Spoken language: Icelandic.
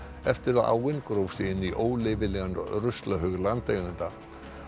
eftir að áin gróf sig inn í óleyfilegan ruslahaug landeiganda